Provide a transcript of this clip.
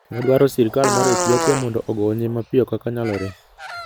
Waduaro sirkal mar Ethiopia mondo ogonye mapiyo kaka nyalore.